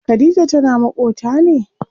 Khadija tana maƙota ne?